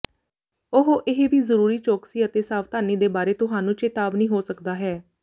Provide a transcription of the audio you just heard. ਉਹ ਇਹ ਵੀ ਜ਼ਰੂਰੀ ਚੌਕਸੀ ਅਤੇ ਸਾਵਧਾਨੀ ਦੇ ਬਾਰੇ ਤੁਹਾਨੂੰ ਚੇਤਾਵਨੀ ਹੋ ਸਕਦਾ ਹੈ